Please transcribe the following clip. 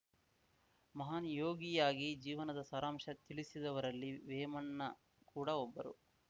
ಮಹಾನ್‌ ಯೋಗಿಯಾಗಿ ಜೀವನದ ಸಾರಾಂಶ ತಿಳಿಸಿದವರಲ್ಲಿ ವೇಮನ್ನ ಕೂಡಾ ಒಬ್ಬರು